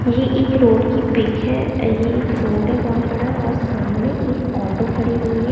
यह एक रोड की पिक है। ये एक रोड है बहोत बड़ा और सामने एक ऑटो खड़ी हुई है।